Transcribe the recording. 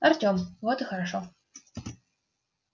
артем вот и хорошо